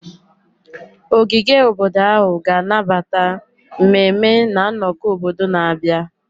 Ogige obodo ahụ ga-anabata mmemme na nnọkọ obodo na-abịa.